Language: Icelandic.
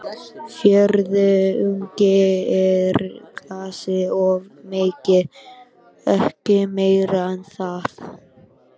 Fjórðungi úr glasi of mikið, ekki meira en það.